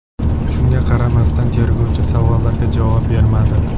Shunga qaramasdan tergovchi savollarga javob bermadi.